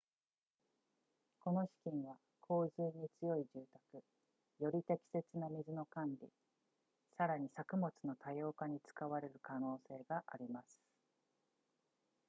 この資金は洪水に強い住宅より適切な水の管理さらに作物の多様化に使われる可能性があります